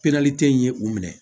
in ye u minɛ